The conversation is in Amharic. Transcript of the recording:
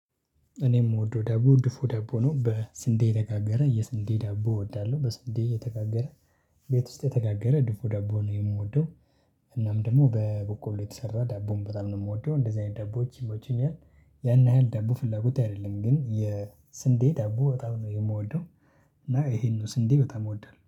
እኔም የምወደው ዳቦ ድፎ ዳቦ ነው። በስንዴ የተጋገረ የስንዴ ዳቦ እወዳለሁ በስንዴ የተጋገረ ቤት የተጋገረ ድፉ ዳቦ ነው የምወደው እናም ደግሞ በበቆሎ የተሰራ ዳቦን በጣም ነው የምወደው። እንደዚህ አይነት ዳቦዎች ይሞቹኛል። ያን ያህል ዳቦ ፍላጎቴ አይደለም። ግን የስንዴ ዳቦ በጣም ነው የምወደው። እና ይሄንን ስንዴ በጣም እወዳለሁ።